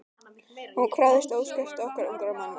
Hún krafðist óskertrar orku ungra manna.